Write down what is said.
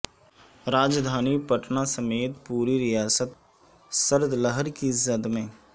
راجدھانی پٹنہ سمیت پوری ریاست سرد لہر کی زد میں